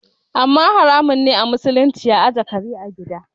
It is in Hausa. Amma haramun a musulunci ajiye kare a gida